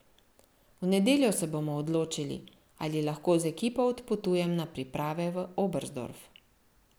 V nedeljo se bomo odločili, ali lahko z ekipo odpotujem na priprave v Oberstdorf.